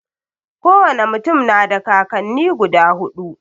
Ko wane mutum na da kakanni guda huɗu.